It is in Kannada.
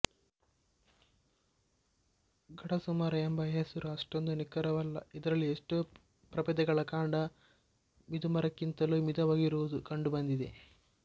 ಗಡಸುಮರ ಎಂಬ ಹೆಸರು ಅಷ್ಟೊಂದು ನಿಖರವಲ್ಲಇದರಲ್ಲಿ ಎಷ್ಟೋ ಪ್ರಭೇದಗಳ ಕಾಂಡ ಮಿದುಮರಕ್ಕಿಂತಲೂ ಮಿದುವಾಗಿರುವುದು ಕಂಡುಬಂದಿದೆ